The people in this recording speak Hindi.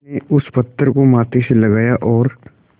उसने उस पत्थर को माथे से लगाया और